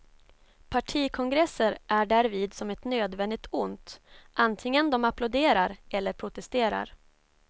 Partikongresser är därvid som ett nödvändigt ont, antingen de applåderar eller protesterar.